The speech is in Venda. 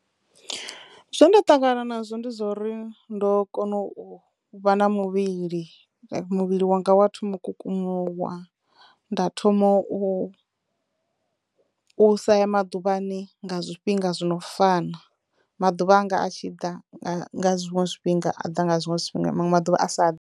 Zwe nda ṱangana nazwo ndi zwo uri ndo kono u vha na muvhili like muvhili wanga wa thomo u kukumuwa, nda thomo u u sa ya maḓuvhani nga zwifhinga zwo no fana maḓuvha anga a tshi ḓa nga nga zwiṅwe zwifhinga a ḓa nga zwiṅwe zwifhinga manwe maḓuvha a sa ḓi .